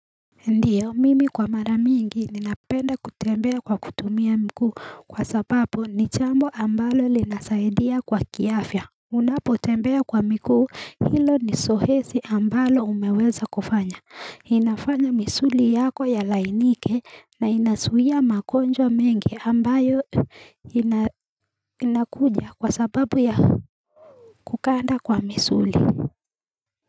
Ndiyo mimi kwa mara mingi ninapenda kutembea kwa kutumia miguu kwa sababu ni jambo ambalo linasaidia kwa kiafya Unapotembea kwa miguu hilo ni zoezi ambalo umeweza kufanya inafanya misuli yako ilainike na inazuia magonjwa mengi ambayo inakuja kwa sababu ya kuganda kwa misuli.